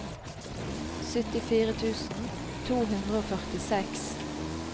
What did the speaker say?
syttifire tusen to hundre og førtiseks